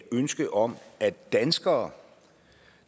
ønske om at danskere